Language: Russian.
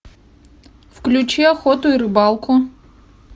включи охоту и рыбалку